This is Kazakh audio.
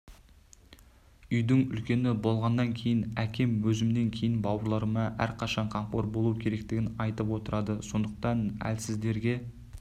үйдің үлкені болғаннан кейін әкем өзімнен кейінгі бауырларыма әрқашан қамқор болу керектігін айтып отырады сондықтан әлсіздерге